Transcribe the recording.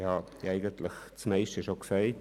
Das Meiste habe ich zuvor bereits gesagt.